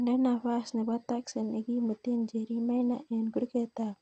Nde nafas nebo taksi ne kimuten njeri maina en kurget ab